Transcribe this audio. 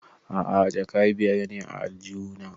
A'a jaka biyar ne a aljihu na